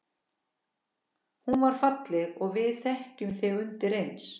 Hún var falleg og við þekktum þig undireins.